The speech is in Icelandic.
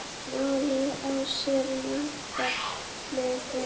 Málið á sér margar hliðar.